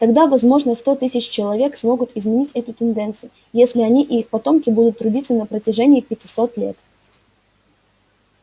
тогда возможно сто тысяч человек смогут изменить эту тенденцию если они и их потомки будут трудиться на протяжении пятисот лет